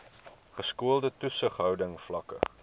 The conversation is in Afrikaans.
geskoolde toesighouding vlakke